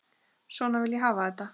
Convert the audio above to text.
Svona vil ég hafa þetta.